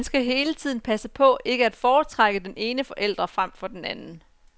Man skal også hele tiden passe på, ikke at foretrække den ene forælder frem for den anden.